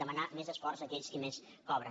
demanar més esforç a aquells qui més cobren